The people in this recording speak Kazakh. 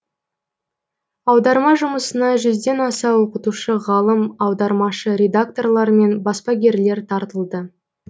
аударма жұмысына жүзден аса оқытушы ғалым аудармашы редакторлар мен баспагерлер тартылды